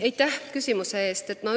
Aitäh küsimuse eest!